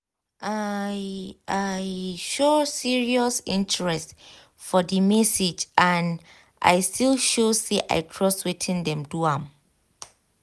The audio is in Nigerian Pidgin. i um show serious interest for the message and um i still um show say i trust wetin dem wan do